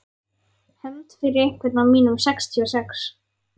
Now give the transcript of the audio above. Hefnd fyrir einhvern af mínum sextíu og sex.